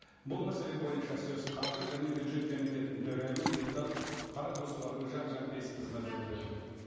бұл мәселе бойынша сөз қаржы және бюджет комитетінің төрайымы депутат қарақұсова гүлжан жанпейісқызына беріледі рахмет